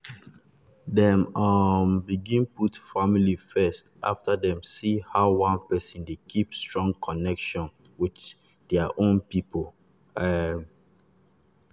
dem um begin put family first after dem see how one person dey keep strong connection with their own people. um